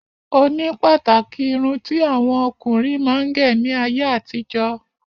Oni pàtàkì irun tí àwọn ọkùnrin máa ń gẹ̀ ní ayé àtijó